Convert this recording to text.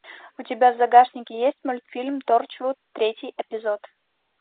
у тебя в загашнике есть мультфильм торчвуд третий эпизод